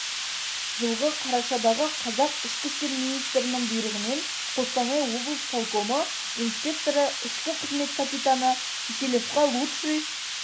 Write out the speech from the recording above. жылғы қарашадағы қазақ ішкі істер министрінің бұйрығымен қостанай облыс полкомы инспекторы ішкі қызмет капитаны киселевқа лучший